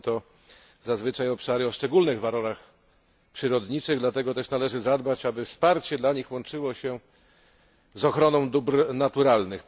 Są to zazwyczaj obszary o szczególnych walorach przyrodniczych, dlatego też należy zadbać, aby wsparcie dla nich łączyło się z ochroną dóbr naturalnych.